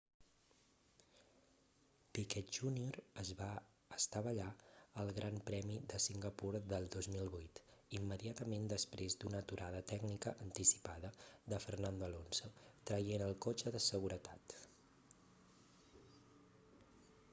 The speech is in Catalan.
piquet jr es va estavellar al gran premi de singapur del 2008 immediatament després d'una aturada tècnica anticipada de fernando alonso traient el cotxe de seguretat